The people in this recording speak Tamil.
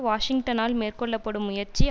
வாஷிங்டனால் மேற்கொள்ள படும் முயற்சி